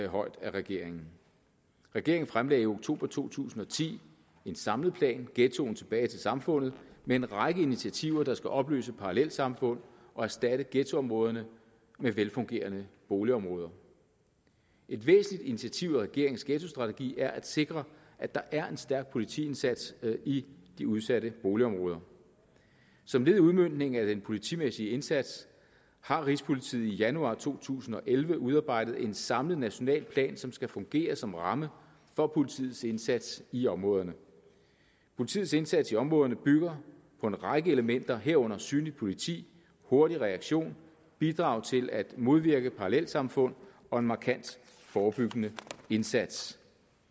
højt af regeringen regeringen fremlagde i oktober to tusind og ti en samlet plan ghettoen tilbage til samfundet med en række initiativer der skal opløse parallelsamfund og erstatte ghettoområderne med velfungerende boligområder et væsentligt initiativ i regeringens ghettostrategi er at sikre at der er en stærk politiindsats i de udsatte boligområder som led i udmøntningen af den politimæssige indsats har rigspolitiet i januar to tusind og elleve udarbejdet en samlet national plan som skal fungere som ramme for politiets indsats i områderne politiets indsats i områderne bygger på en række elementer herunder synligt politi hurtig reaktion bidrag til at modvirke parallelsamfund og en markant forebyggende indsats